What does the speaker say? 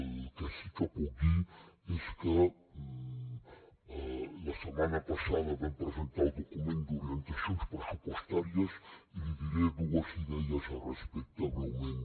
el que sí que puc dir és que la setmana passada vam presentar el document d’orientacions pressupostàries i li diré dues idees al respecte breument